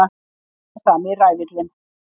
Alltaf sami ræfillinn!